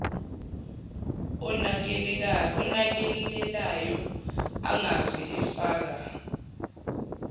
onakelelayo angeze afaka